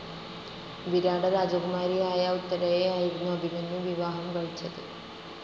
വിരാട രാജകുമാരിയായ ഉത്തരയെയായിരുന്നു അഭിമന്യു വിവാഹം കഴിച്ചത്.